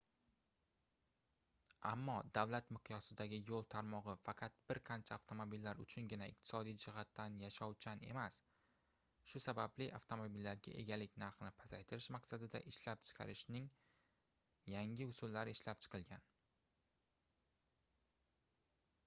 ammo davlat miqyosidagi yoʻl tarmogʻi faqat bir qancha avtomobillar uchungina iqtisodiy jihatdan yashovchan emas shu sababli avtomobillarga egalik narxini pasaytirish maqsadida ishlab chiqarishning yangi usullari ishlab chiqilgan